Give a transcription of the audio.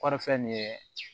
Kɔrifɛ nin ye